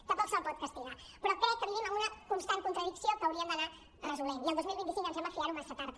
tampoc se’l pot castigar però crec que vivim en una constant contradicció que hauríem d’anar resolent i el dos mil vint cinc em sembla fiar·ho massa tard